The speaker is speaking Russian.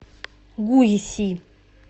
гуйси